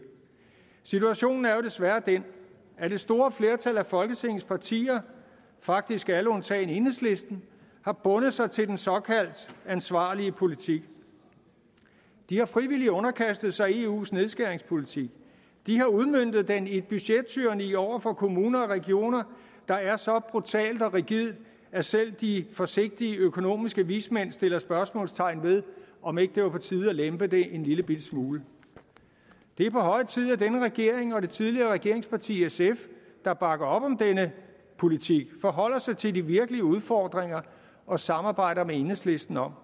situationen er jo desværre den at det store flertal af folketingets partier faktisk alle undtagen enhedslisten har bundet sig til den såkaldt ansvarlige politik de har frivilligt underkastet sig eus nedskæringspolitik de har udmøntet den i et budgettyranni over for kommuner og regioner der er så brutalt og rigidt at selv de forsigtige økonomiske vismænd sætter spørgsmålstegn ved om ikke det er på tide at lempe det en lillebitte smule det er på høje tid at denne regering og det tidligere regeringsparti sf der bakker op om denne politik forholder sig til de virkelige udfordringer og samarbejder med enhedslisten om